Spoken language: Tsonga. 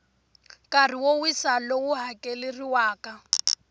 nkarhi wo wisa lowu hakeleriwaka